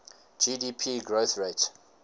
gdp growth rate